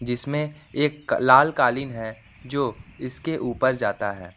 जिसमें एक लाल कालीन है जो इसके ऊपर जाता है।